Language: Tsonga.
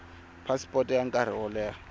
phasipoto ya nkarhi wo leha